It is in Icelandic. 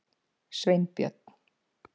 Sveinbjörn